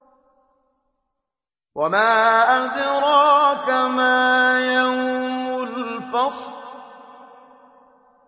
وَمَا أَدْرَاكَ مَا يَوْمُ الْفَصْلِ